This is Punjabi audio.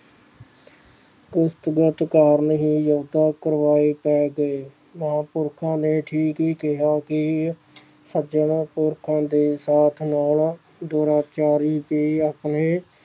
ਉਸਤੋਂ ਬਹੁਤ ਕਾਰਣ ਲੰਕਾ ਪੁਰ ਜਾਕੇ ਮਹਾਪੁਰਖੋ ਨੇ ਠੀਕ ਹੀ ਕਿਹਾ ਕਿ ਸੱਜਣ ਪੁਰਖਾਂ ਦੇ ਸਾਥ ਨਾਲ ਦੁਰਾਚਾਰੀ ਤੇ ਆਪਣੇ